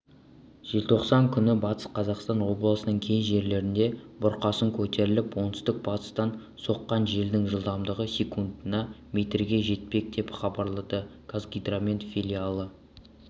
желтоқсан күні батыс қазақстан облысының кей жерлерінде бұрқасын көтеріліп оңтүстік-батыстан соққан желдің жылдамдығы секундына метрге жетпек деп хабарлады қазгидромет филиалы